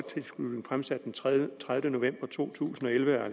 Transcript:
den tredivete november to tusind og elleve af